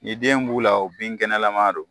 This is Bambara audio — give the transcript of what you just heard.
Ni den b'u la o bin kɛnɛlama don